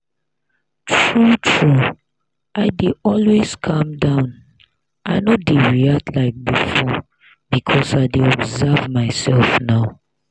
true true i dey always calm down i no dey react like before because i dey observe my self now